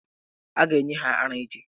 A ga-enye ha ara echi.